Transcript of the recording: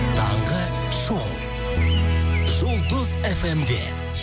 таңғы шоу жұлдыз фм де